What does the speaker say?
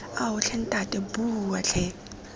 ao tlhe ntate bua tlhe